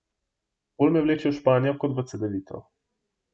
Bolj me vleče v Španijo kot v Cedevito.